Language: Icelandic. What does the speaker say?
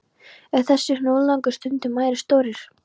Eru þessir hnullungar stundum ærið stórir.